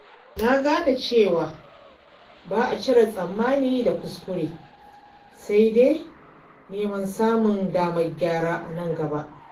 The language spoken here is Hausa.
Nagane cewa ba'a cire tsammani da kuskure, sai dai neman samun damar gyara anan gaba.